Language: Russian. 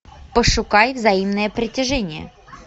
пошукай взаимное притяжение